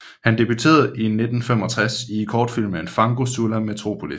Han debuterede i 1965 i kortfilmen Fango sulla metropolis